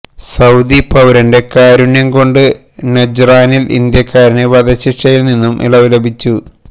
Saudi പൌരന്റെ കാരുണ്യം കൊണ്ട് നജ്റാനില് ഇന്ത്യക്കാരന് വധശിക്ഷയില് നിന്നും ഇളവ് ലഭിച്ചു